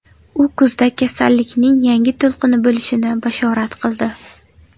U kuzda kasallikning yangi to‘lqini bo‘lishini bashorat qildi.